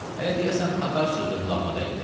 Hələ deyəsən tatar sözü də qulağıma dəydi.